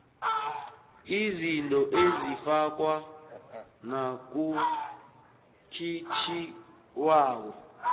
izinto ezifakwa nakukhiqizwako